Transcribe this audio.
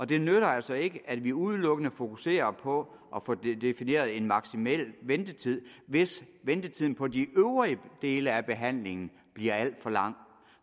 det nytter altså ikke at vi udelukkende fokuserer på at få defineret en maksimal ventetid hvis ventetiden på de øvrige dele af behandlingen bliver alt for lang